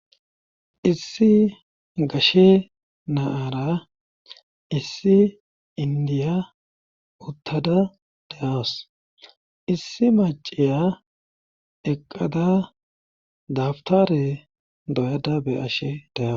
Issi gashe naara issi indiya uttada da7awus issi maciya eqqada dabtare doyada be ashe de7awo.